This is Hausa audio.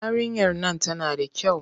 Yarinyar nan tana da kyau.